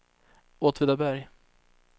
Åtvidaberg